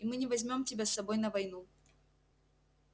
и мы не возьмём тебя с собой на войну